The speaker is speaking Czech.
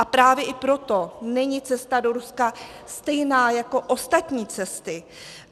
A právě i proto není cesta do Ruska stejná jako ostatní cesty.